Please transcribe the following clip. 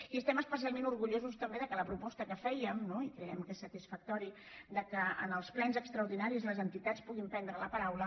i estem especialment orgullosos també que la proposta que fèiem no i creiem que és satisfactori que en els plens extraordinaris les entitats puguin prendre la paraula